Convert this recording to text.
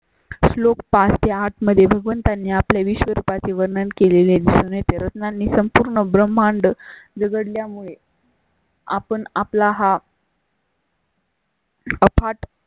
श्लोक पाच ते आठमध्ये भगवंतांनी आपले विश्वरूपा चे वर्णन केलेले ते रत्नानी संपूर्ण ब्रह्मांड जग यामुळे. आपण आपला हा? अफाट